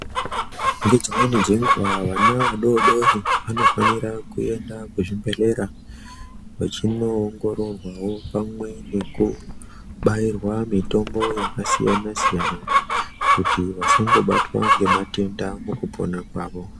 Nedzimweni dzenguva vana vadodori vanofanira kuenda kuzvibhedhlera vachinoono ongororwa wo pamwe nekubayirwa mutombo yakasiyana siyana kuti vasango batwa nematenda mukupona kwava.